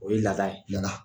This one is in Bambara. O ye laada ye, laada .